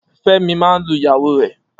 Femi maa n lu iyawo re